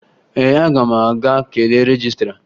Ee, aga m aga kelee rejistra